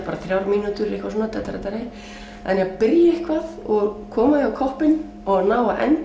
bara þrjár mínútur eitthvað svona en að byrja eitthvað koma því á koppinn og ná að enda